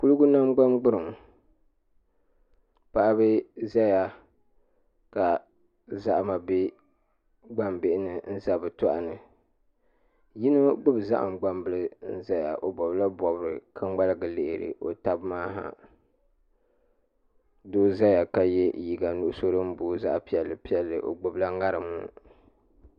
Kuligu nangbani gburiŋ paɣaba ʒɛya ka paɣaba bɛ gbambihi ni n ʒɛ bi tooni yino gbubi zaham gbambili ʒɛya o bobla bobri ka ŋmaligi lihi o tabi maa ha doo ʒɛya ka yɛ liiga nuɣso din booi zaɣ piɛlli piɛlli o gbubila ŋarim